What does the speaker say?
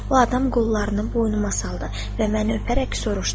O adam qollarını boynuma saldı və məni öpərək soruşdu: